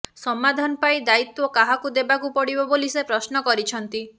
ସମାଧାନ ପାଇଁ ଦାୟିତ୍ୱ କାହାକୁ ଦେବାକୁ ପଡିବ ବୋଲି ସେ ପ୍ରଶ୍ନ କରିଛନ୍ତି